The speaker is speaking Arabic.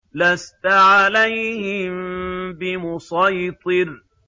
لَّسْتَ عَلَيْهِم بِمُصَيْطِرٍ